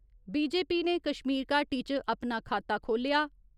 BJP ने कश्मीर घाटी च अपना खाता खोल्लेआ।